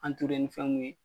ni fɛn mun ye.